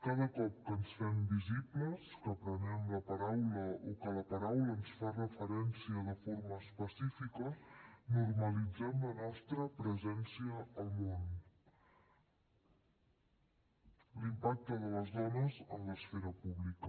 cada cop que ens fem visibles que prenem la paraula o que la paraula ens fa referència de forma específica normalitzem la nostra presència al món l’impacte de les dones en l’esfera pública